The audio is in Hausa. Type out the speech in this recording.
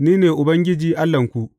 Ni ne Ubangiji Allahnku.